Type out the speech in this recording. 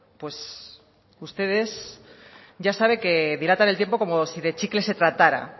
pues ustedes ya sabe que dilatan el tiempo como si de chicle se tratara